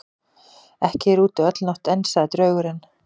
Ekki er úti öll nótt enn, sagði draugurinn.